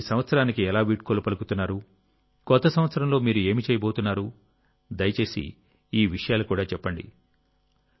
మీరు ఈ సంవత్సరానికి ఎలా వీడ్కోలు పలుకుతున్నారు కొత్త సంవత్సరంలో మీరు ఏమి చేయబోతున్నారు దయచేసి ఈ విషయాలు కూడా చెప్పండి